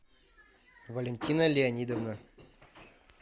валентина леонидовна